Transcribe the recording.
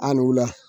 A ni wula